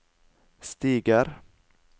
stiger